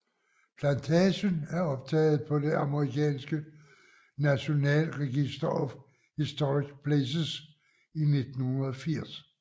Plantagen er optaget på det amerikanske National Register of Historic Places i 1980